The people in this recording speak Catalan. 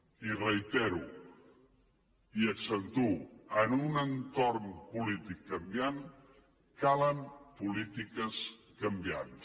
i ho reitero i ho accentuo en un entorn polític canviant calen polítiques canviants